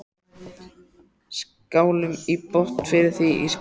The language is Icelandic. Skálum í botn fyrir því Ísbjörg.